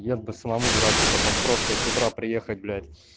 я бы самому дураку потом просто с утра приехать блять